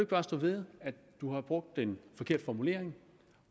bare stå ved at du har brugt en forkert formulering